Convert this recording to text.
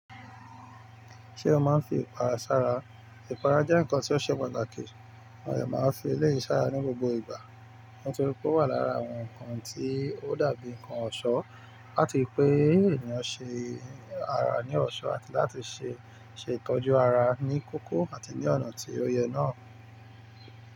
Ṣé o máa ń fi ìpara sára? Ìpara jẹ́ nǹkan tí ó ṣẹ pàtàkì. Mo dẹ́ màá ń fi eleyii sárá ní gbogbo ìgbà, nítorí pé ó wà lára àwọn nǹkan tí ó dàbí nǹkan ọ̀ṣọ́ láti pé ènìyàn ṣe ara ní ọ̀ṣọ́ àti láti ṣe ìtọ́jú ara ní kókó àti ní ọ̀nà tí ó yẹ náà.